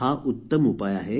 हा उत्त्तम उपाय आहे